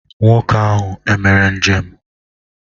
Nwoke ahụ emere njem?